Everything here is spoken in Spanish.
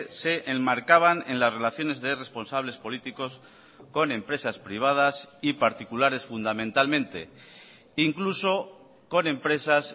se enmarcaban en las relaciones de responsables políticos con empresas privadas y particulares fundamentalmente incluso con empresas